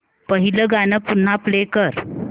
पहिलं गाणं पुन्हा प्ले कर